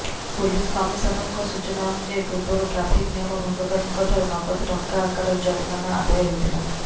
police କମିସନରଙ୍କ ସୂଚନା ଅନୁଯାୟୀ ପୂର୍ବରୁ ଟ୍ରାଫିକ୍ ନିୟମ ଭଙ୍ଗକାରୀଙ୍କଠାରୁ ନଗଦ ଟଙ୍କା ଆକାରରେ ଜରିମାନା ଆଦାୟ ହେଉଥିଲା